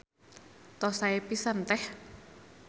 Tos sae pisan Teh.